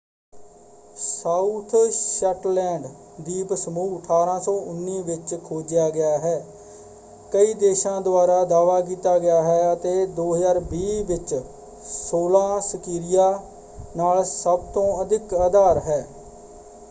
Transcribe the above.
South Shetland ਦੀਪ ਸਮੂਹ 1819 ਵਿੱਚ ਖੋਜਿਆ ਗਿਆ ਹੈ ਕਈ ਦੇਸ਼ਾਂ ਦੁਆਰਾ ਦਾਅਵਾ ਕੀਤਾ ਗਿਆ ਹੈ ਅਤੇ 2020 ਵਿੱਚ ਸੌਲਾਂ ਸਕਿਰਿਆ ਨਾਲ ਸਭਤੋਂ ਅਧਿਕ ਆਧਾਰ ਹੈ।